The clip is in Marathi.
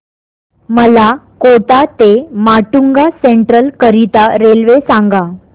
मला कोटा ते माटुंगा सेंट्रल करीता रेल्वे सांगा